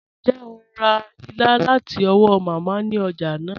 Ǹjẹ́ o rá ìlà láti ọ̀wọ̀ Mámá ni ọ̀já naa?